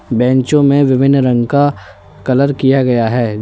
बैंचों में विभिन्न रंग का कलर किया गया है।